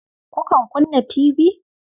Kukan kunna tibi?